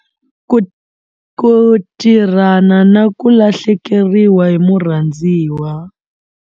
Ku tirhana na ku lahlekeriwa hi murhandziwa.